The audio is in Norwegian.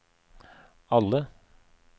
alle